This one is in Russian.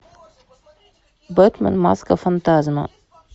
бэтмен маска фантазма